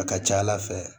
A ka ca ala fɛ